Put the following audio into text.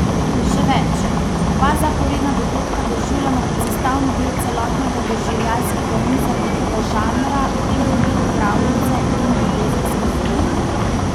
Še več, oba zaporedna dogodka doživljamo kot sestavni del celotnega doživljajskega niza nekega žanra, v tem primeru pravljice in ljubezenske zgodbe.